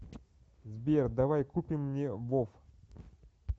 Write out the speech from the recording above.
сбер давай купим мне вов